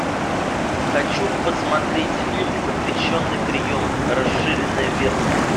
хочу посмотреть фильм запрещенный прием расширенная версия